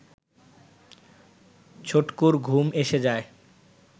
ছটকুর ঘুম এসে যায়